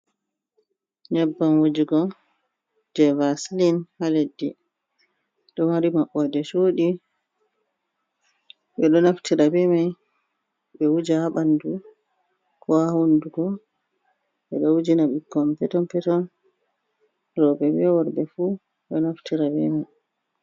Nyebbam wajugo, je vasilin ha leddi. Ɗo mari maɓɓo de chuɗi. Ɓe ɗo naftira bemai ɓe wuja ha ɓandu ko ha hunduko. Ɓe ɗo wujina bukkon peton peton roɓe ɓe worbe fu do naftira be mai.